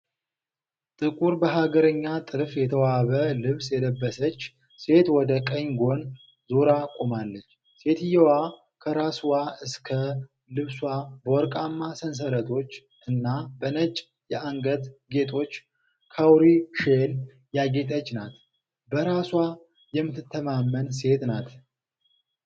ጥቁር በሀገረኛ ጥልፍ የተዋበ ልብስ የለበሰች ሴት ወደ ቀኝ ጎን ዞራ ቆማለች። ሴትየዋ ከራስዋ እስከ ልብሷ በወርቃማ ሰንሰለቶች እና በነጭ የአንገት ጌጦች (ካውሪ ሼል) ያጌጠች ናት። በራሷ የምትተማመን ሴት ናት።